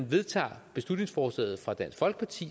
vedtager beslutningsforslaget fra dansk folkeparti